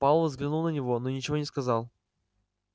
пауэлл взглянул на него но ничего не сказал